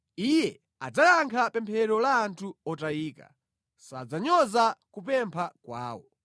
Iye adzayankha pemphero la anthu otayika; sadzanyoza kupempha kwawo.